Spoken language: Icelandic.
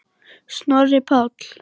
Snorri Páll.